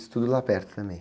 Isso tudo lá perto também?